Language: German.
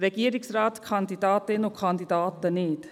Regierungsratskandidatinnen und -kandidaten nicht.